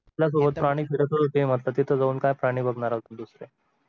आपल्या सोबत प्राणी फिरतच होते मग आत्ता तिथे जाऊन काय प्राणी बघणार आहोत दुसरे